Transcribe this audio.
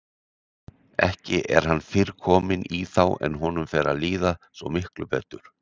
Ekki er hann fyrr kominn í þá en honum fer að líða svo miklu betur.